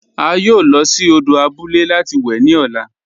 A yóò lọ sí òdò àbúlẹ̀ láti wè ni ọ̀là.